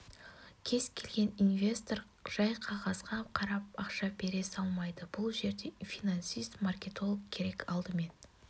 кез келген инвестор жай қағазға қарап ақша бере салмайды бұл жерде финансист маркетолог керек алдымен